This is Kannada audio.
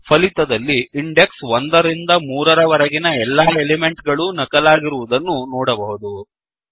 ಫಲಿತದಲ್ಲಿ ಇಂಡೆಕ್ಸ್ 1 ರಿಂದ 3 ರವರೆಗಿನ ಎಲ್ಲಾ ಎಲಿಮೆಂಟ್ ಗಳೂ ನಕಲಾಗಿರುವುದನ್ನು ನೋಡಬಹುದು